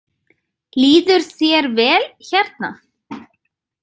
Líður þér vel hérna?